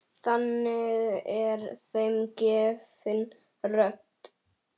Þannig er þeim gefin rödd.